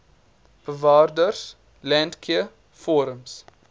bewareas landcare forums